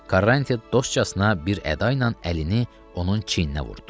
Karanti dostcasına bir əda ilə əlini onun çiyninə vurdu.